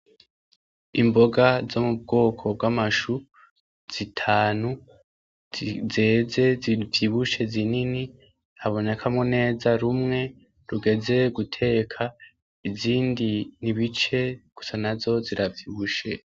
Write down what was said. Imboga zo mu bwoko bw'amashu zitanu zeze zivyibushe zinini abonekamwo neza rumwe rugeze guteka izindi nibice gusa na zo ziravyibushe.